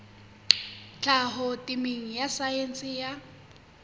tlhaho temeng ya saense ya